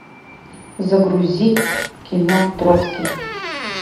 загрузи кино троцкий